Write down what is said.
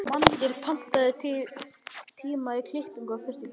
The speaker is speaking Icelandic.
Magngeir, pantaðu tíma í klippingu á föstudaginn.